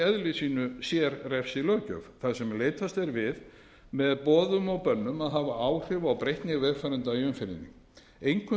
sínu sérrefsilöggjöf þar sem leitast er við með boðum og bönnum að hafa áhrif á breytni vegfarenda í umferðinni einkum þeirra